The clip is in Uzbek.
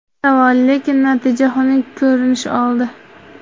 Savol: Lekin natija xunuk ko‘rinish oldi.